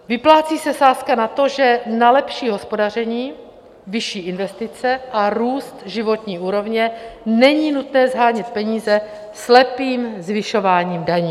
Vyplácí se sázka na to, že na lepší hospodaření, vyšší investice a růst životní úrovně není nutné shánět peníze slepým zvyšováním daní.